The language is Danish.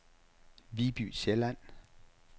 Viby Sjælland